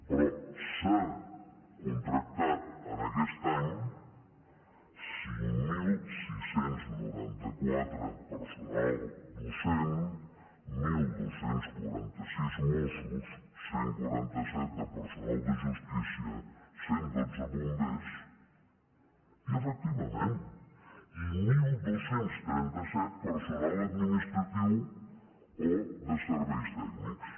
però s’han contractat en aquest any cinc mil sis cents i noranta quatre personal docent dotze quaranta sis mossos cent i quaranta set de personal de justícia cent i dotze bombers i efectivament dotze trenta set personal administratiu o de serveis tècnics